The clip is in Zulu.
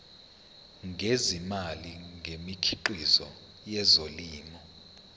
ngezimali ngemikhiqizo yezolimo